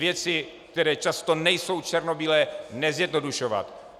Věci, které často nejsou černobílé, nezjednodušovat.